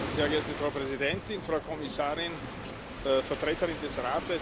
Frau Präsidentin, Frau Kommissarin, Vertreterin des Rates!